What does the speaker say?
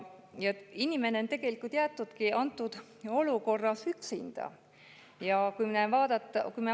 Inimene on tegelikult jäetud antud olukorras üksinda.